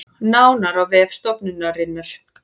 Nánar á vef stofnunarinnar